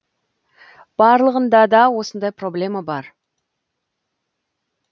барлығында да осындай проблема бар